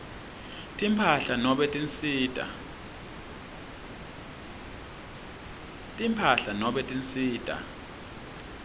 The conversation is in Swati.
timphahla nobe tinsita